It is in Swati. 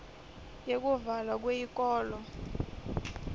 yekuvalwa kweyikolo